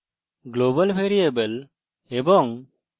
global variable এবং